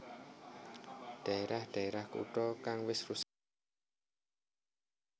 Dhaerah dhaerah kutha kang wis rusak supaya dibangun manèh